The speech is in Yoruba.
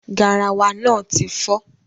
Garawa náà ti fọ́.